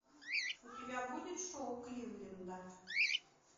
у тебя будет шоу кливленда